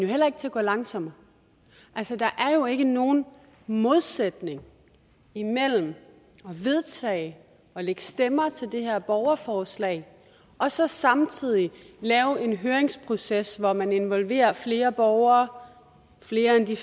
heller ikke til at gå langsommere der er jo ikke nogen modsætning imellem at vedtage at lægge stemmer til det her borgerforslag og så samtidig lave en høringsproces hvor man involverer flere borgere flere end de